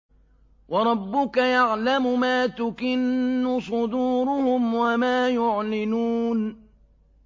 وَرَبُّكَ يَعْلَمُ مَا تُكِنُّ صُدُورُهُمْ وَمَا يُعْلِنُونَ